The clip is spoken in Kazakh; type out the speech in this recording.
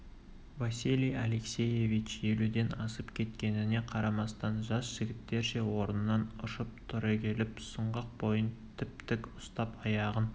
василий алексеевич елуден асып кеткеніне қарамастан жас жігіттерше орнынан ұшып түрегеліп сұңғақ бойын тіп-тік ұстап аяғын